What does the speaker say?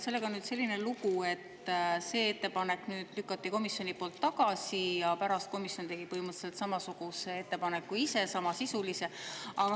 Sellega on nüüd selline lugu, et selle ettepaneku lükkas komisjon tagasi, aga pärast tegi komisjon ise põhimõtteliselt samasisulise ettepaneku.